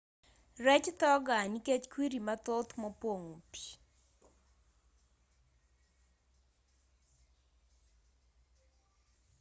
rech tho gaa nikech kwiri mathoth mopong'o pii